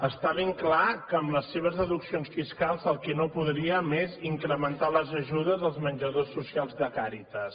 està ben clar que amb les seves deduccions fiscals el que no podríem és incrementar les ajudes dels menjadors socials de càritas